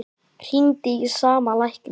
Hringdi í sama lækni